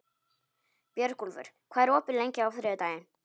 Björgúlfur, hvað er opið lengi á þriðjudaginn?